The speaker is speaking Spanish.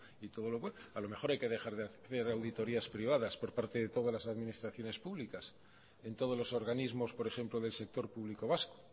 y todo lo a lo mejor hay que dejar de hacer auditorías privadas por parte de todas las administraciones públicas en todos los organismos por ejemplo del sector público vasco